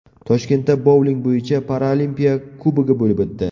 Toshkentda bouling bo‘yicha Paralimpiya Kubogi bo‘lib o‘tdi.